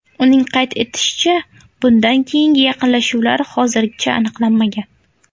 Uning qayd etishicha, bundan keyingi yaqinlashuvlar hozircha aniqlanmagan.